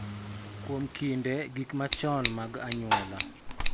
Kuom kinde, gik machon mag anyuola